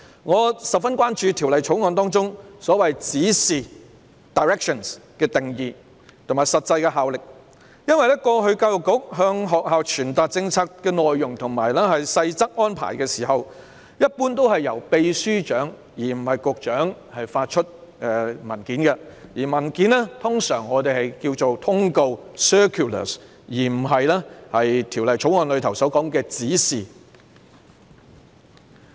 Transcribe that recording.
我十分關注《條例草案》中所謂"指示"的定義和實際效力，因為過去教育局向學校傳達政策內容和細則安排的時候，一般是由常任秘書長而非局長發出文件，而我們通常稱有關文件為"通告"而非《條例草案》所說的"指示"。